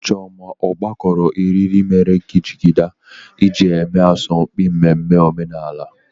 Chioma ọ gakọrọ eriri mere gị jigida iji eme asọmpi mmemme omenala?